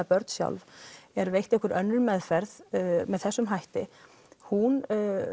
börn sjálf er veitt einhver önnur meðferð með þessum hætti hún